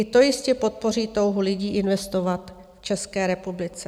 I to jistě podpoří touhu lidí investovat v České republice.